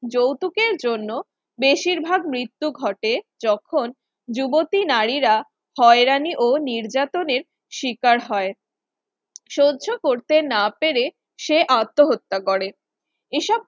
যৌতুকের জন্য বেশিরভাগ মৃত্যু ঘটে যখন যুবতী নারীরা হয়রানি ও নির্যাতনের শিকার হয় সহ্য করতে না পেরে সে আত্মহত্যা করে এসব